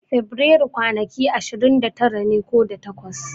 Fabrairu kwanaki ashirin da tara ne ko da takwas.